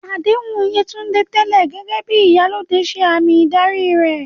Àdéhùn Yewande tẹ́lẹ̀ gẹ́gẹ́ bí "Iyalode" ṣe àmì ìdarí rẹ̀